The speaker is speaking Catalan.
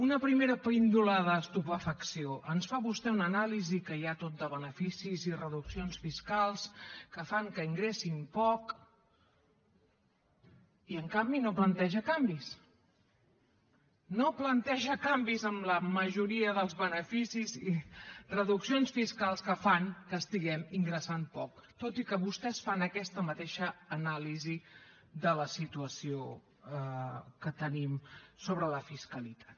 una primera píndola d’estupefacció ens fa vostè una anàlisi que hi ha tot de beneficis i reduccions fiscals que fan que ingressin poc i en canvi no planteja canvis no planteja canvis en la majoria dels beneficis i reduccions fiscals que fan que estiguem ingressant poc tot i que vostès fan aquesta mateixa anàlisi de la situació que tenim sobre la fiscalitat